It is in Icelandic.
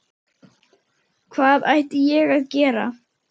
Hvað ætti ég að gera?